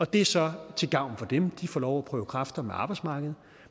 det er så til gavn for dem de får lov at prøve kræfter med arbejdsmarkedet